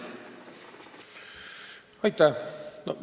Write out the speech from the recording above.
Aitäh!